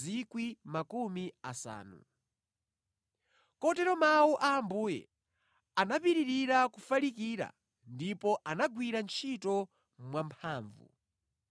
Kotero Mawu a Ambuye anapitirira kufalikira ndipo anagwira ntchito mwamphamvu.